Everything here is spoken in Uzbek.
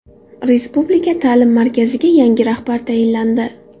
Respublika ta’lim markaziga yangi rahbar tayinlandi.